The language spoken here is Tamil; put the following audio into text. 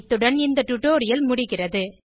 இத்துடன் இந்த டுடோரியல் முடிகிறது